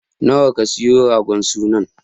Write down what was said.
Nawa ka siyo ragon sunan?